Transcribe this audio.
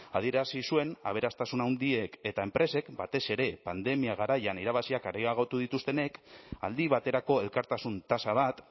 adierazi zuen aberastasun handiek eta enpresek batez ere pandemia garaian irabaziak areagotu dituztenek aldi baterako elkartasun tasa bat